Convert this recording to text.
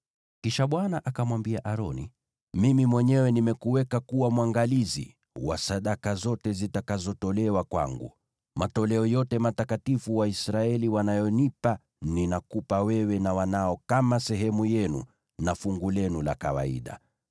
Kisha Bwana akamwambia Aroni, “Mimi mwenyewe nimekuweka kuwa mwangalizi wa sadaka zote zitakazotolewa kwangu; matoleo yote matakatifu Waisraeli wanayonipa ninakupa wewe na wanao kama sehemu yenu na fungu lenu la kawaida.